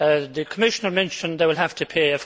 The Commissioner mentioned they will have to pay.